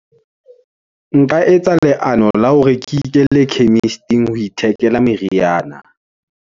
Nka etsa leano la hore ke ikele chemist-ing, ho ithekela meriana.